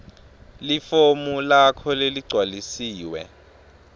lifomu lakho leligcwalisiwe